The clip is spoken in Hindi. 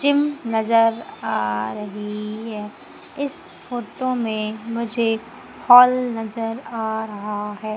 जिम नजर आ रही है इस फोटो में मुझे हॉल नजर आ रहा है।